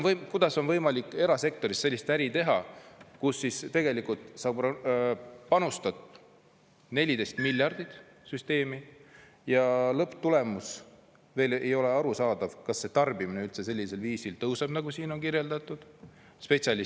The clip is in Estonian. Kuidas on võimalik erasektoris sellist äri teha, kus tegelikult sa panustad 14 miljardit süsteemi ja lõpptulemus veel ei ole arusaadav, kas see tarbimine üldse sellisel viisil tõuseb, nagu siin on kirjeldatud?